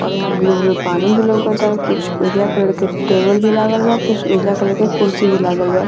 और यहाँ blue blue पानी भी लउकता कुछ उजला कलर के टेबल भी लागल बा कुछ उजला कलर के कुर्सी भी लागल बा।